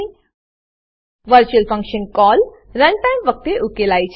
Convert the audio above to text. virtual function virtual function call run time run time વખતે ઉકેલાય છે